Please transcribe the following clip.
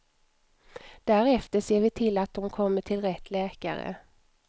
Därefter ser vi till att de kommer till rätt läkare.